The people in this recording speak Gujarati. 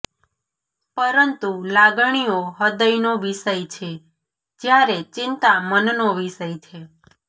પરંતુ લાગણીઓ હૃદયનો વિષય છે જયારે ચિંતા મનનો વિષય છે